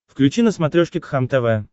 включи на смотрешке кхлм тв